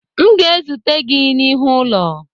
M ga-ezute gị n'ihu ụlọ